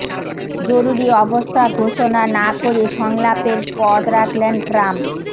জরুরি অবস্থা ঘোষণা না করে সংলাপের পথ রাখলেন ট্রাম্প